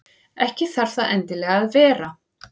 Ekki þarf það endilega að vera.